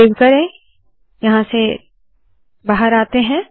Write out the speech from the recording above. save करे यहाँ से बाहर आते है